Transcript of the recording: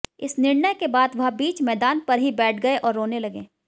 इस निर्णय के बाद वह बीच मैदान पर ही बैठ गए और रोने लगे